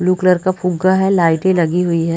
Blue colour का फुग्गा है लाइटे लगी हुई है।